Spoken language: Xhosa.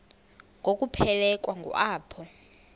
ngokuphelekwa ngu apho